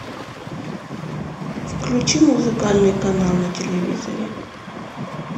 включи музыкальный канал на телевизоре